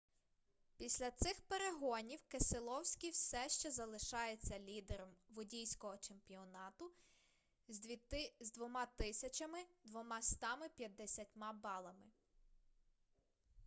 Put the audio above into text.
після цих перегонів кеселовскі все ще залишається лідером водійського чемпіонату з 2250 балами